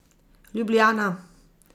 Ljubljana.